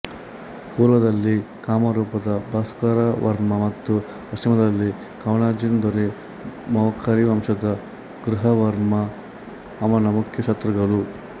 ಪೂರ್ವದಲ್ಲಿ ಕಾಮರೂಪದ ಭಾಸ್ಕರವರ್ಮ ಮತ್ತು ಪಶ್ಚಿಮದಲ್ಲಿ ಕನೌಜಿನ ದೊರೆ ಮೌಖರಿ ವಂಶದ ಗ್ರಹವರ್ಮ ಅವನ ಮುಖ್ಯ ಶತ್ರುಗಳು